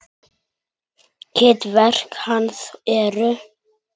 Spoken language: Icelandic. Ritverk hans eru